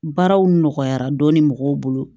Baaraw nɔgɔyara dɔɔni mɔgɔw bolo